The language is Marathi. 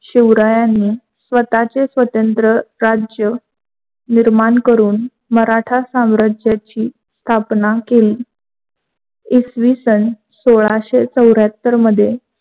शिवरायांनी स्वतःचे स्वतंत्र राज्ये निर्माण करून मराठा साम्राज्याची स्थापना केली. इसवी सन सोळाशे चौरहात्यार